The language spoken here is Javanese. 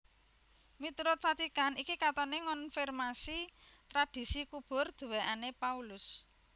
Miturut Vatikan iki katoné ngonfirmasi tradhisi kubur duwèkané Paulus